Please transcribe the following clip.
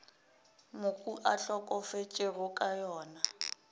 mohu a hlokafetšego ka yona